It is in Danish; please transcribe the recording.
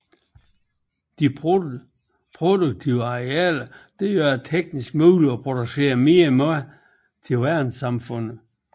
Disse produktive arealer gør det teknisk muligt at producere mere mad til verdenssamfundet